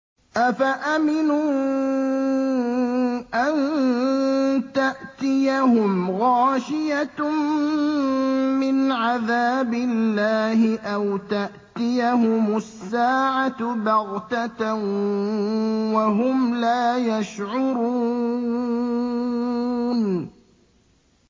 أَفَأَمِنُوا أَن تَأْتِيَهُمْ غَاشِيَةٌ مِّنْ عَذَابِ اللَّهِ أَوْ تَأْتِيَهُمُ السَّاعَةُ بَغْتَةً وَهُمْ لَا يَشْعُرُونَ